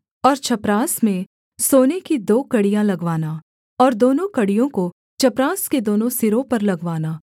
और चपरास में सोने की दो कड़ियाँ लगवाना और दोनों कड़ियों को चपरास के दोनों सिरों पर लगवाना